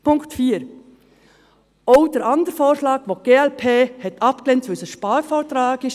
Zu Punkt 4: Auch den anderen Vorschlag hat die glp-Fraktion abgelehnt, weil es ein Sparvorschlag ist.